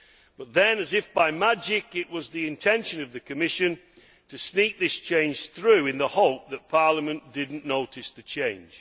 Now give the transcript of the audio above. But then, as if by magic, it was the intention of the Commission to sneak this change through in the hope that Parliament did not notice the change.